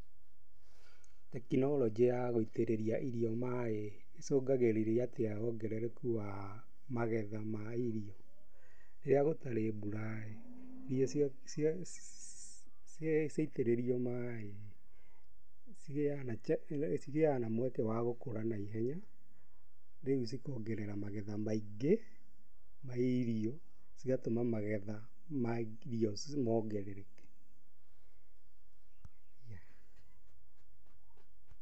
Tekinoronjĩ ya gũitĩrĩria irio maaĩ ĩcũngagĩrĩria atĩa wongerereku wa magetha ma irio. Rĩrĩa gũtarĩ mbura, irio ciaitĩrĩrio maĩ, cigĩaga na mweke wa gũkũra na ihenya, rĩu cikongerera magetha maingĩ, ma irio cigatũma magetha ma irio mongerereke.